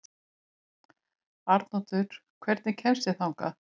Arnoddur, hvernig kemst ég þangað?